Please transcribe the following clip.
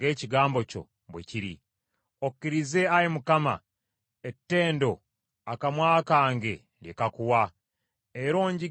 Okkirize Ayi Mukama ettendo akamwa kange lye kakuwa; era onjigirize amateeka go.